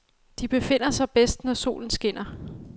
De befinder sig bedst, når solen skinner.